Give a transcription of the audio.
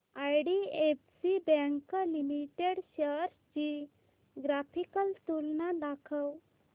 IDFC bank limited shares ची graphical तुलना दाखव